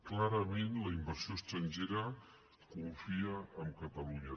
clarament la inversió estrangera confia en catalunya